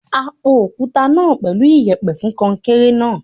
A po òkúta náà pẹ̀lú iyẹ̀pẹ̀ fún kọnkéré náà.